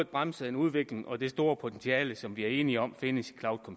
bremse en udvikling og det store potentiale som vi er enige om findes i